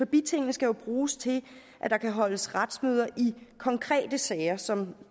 bitingene skal jo bruges til at der kan holdes retsmøder i konkrete sager som